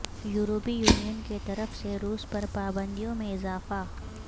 یورپی یونین کیطرف سے روس پر پابندیوں میں اضافہ